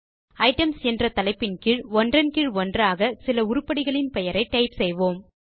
items என்ற தலைப்பின் கீழ் ஒன்றன் கீழ் ஒன்றாக சில உருப்படிகளின் பெயரை டைப் செய்வோம்